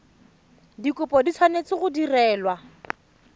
dikopo di tshwanetse go direlwa